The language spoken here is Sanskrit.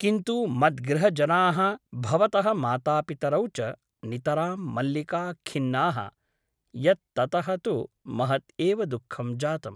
किन्तु मद्गृहजनाः भवतः मातापितरौ च नितरां मल्लिका खिन्नाः यत् ततः तु महत् एव दुःखं जातम् ।